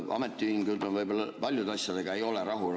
Ametiühingud ei ole võib-olla paljude asjadega rahul.